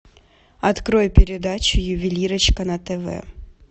открой передачу ювелирочка на тв